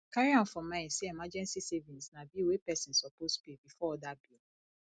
carry am for mind sey emergency savings na bill wey person suppose pay before oda bill